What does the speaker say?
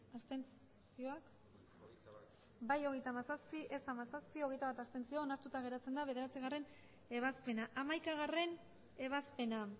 abstenzioak emandako botoak hirurogeita hamabost bai hogeita hamazazpi ez hamazazpi abstentzioak hogeita bat onartuta geratzen da bederatzigarrena ebazpena hamaikagarrena ebazpena